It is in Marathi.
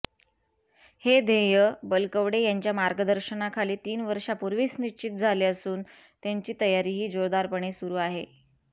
हे ध्येय बलकवडे यांच्या मार्गदर्शनाखाली तीन वर्षापुर्वीच निश्चित झाले असून त्याची तयारीही जोरदारपणे सुरू आहे